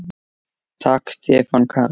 Takk Stefán Karl.